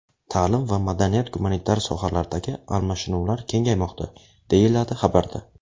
Ta’lim va madaniy-gumanitar sohalardagi almashinuvlar kengaymoqda, deyiladi xabarda.